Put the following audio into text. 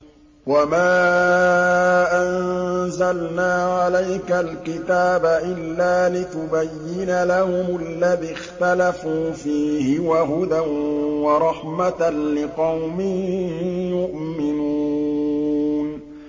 وَمَا أَنزَلْنَا عَلَيْكَ الْكِتَابَ إِلَّا لِتُبَيِّنَ لَهُمُ الَّذِي اخْتَلَفُوا فِيهِ ۙ وَهُدًى وَرَحْمَةً لِّقَوْمٍ يُؤْمِنُونَ